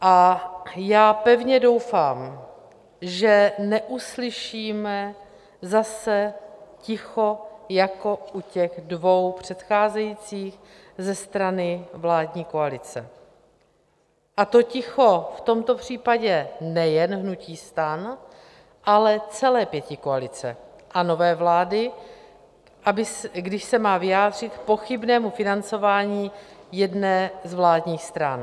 A já pevně doufám, že neuslyšíme zase ticho jako u těch dvou předcházejících ze strany vládní koalice, a to ticho v tomto případě nejen hnutí STAN, ale celé pětikoalice a nové vlády, když se má vyjádřit k pochybnému financování jedné z vládních stran.